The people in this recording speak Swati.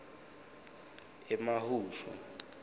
emahushu